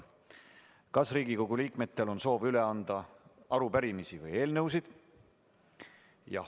Kas Riigikogu liikmetel on soovi üle anda arupärimisi või eelnõusid?